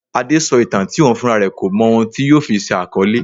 Adé sọ ìtàn tí òun fúnra rẹ kò mọ ohun tí yóò fi ṣe àkọlé.